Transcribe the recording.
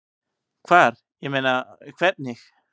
Hvar, ég meina. hvernig?